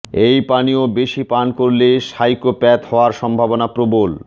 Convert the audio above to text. এই পানীয় বেশি পান করলে সাইকোপ্যাথ হওয়ার সম্ভাবনা প্রবল